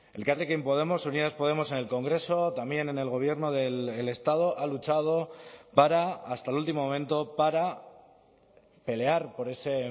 elkarrekin podemos unidas podemos en el congreso también en el gobierno del estado ha luchado para hasta el último momento para pelear por ese